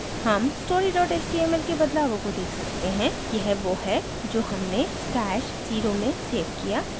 हम story html के बदलावों को देख सकते हैं यह we है जो हमने stash @{0} में सेव किया